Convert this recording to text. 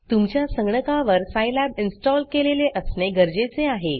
तुमच्या संगणकावर Scilabसाईलॅब इन्स्टॉल केलेले असणे गरजेचे आहे